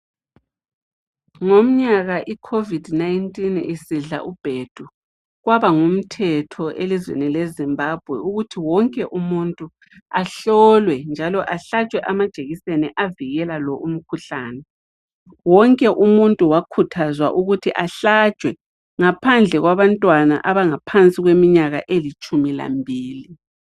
Ngomnyaka icovid 19 sisidla ubhedu kwaba ngumthetho elizweni leZimbabwe ukuthi wonke umuntu ahlolwe njalo ahlatshwe amajekiseni avikela lo umkhuhlane wonke umuntu wakhuthazwa ukuthi ahlatshwe ngaphandle kwabantwana abangaphansi kweminyaka elitshumi lambili.